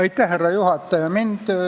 Aitäh, härra juhataja!